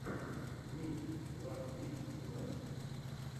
микс ласт вик тунайт